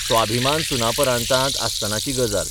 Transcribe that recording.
स्वाभिमान सुनापरान्तांत आसतनाची गजाल.